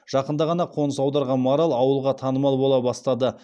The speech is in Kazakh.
жақында ғана қоныс аударған марал ауылға танымал бола бастады